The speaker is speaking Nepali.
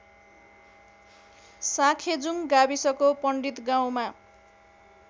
साँखेजुङ गाविसको पण्डितगाउँमा